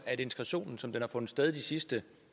at integrationen som den har fundet sted de sidste